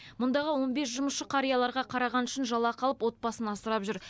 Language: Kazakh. мұндағы он бес жұмысшы қарияларға қарағаны үшін жалақы алып отбасын асырап жүр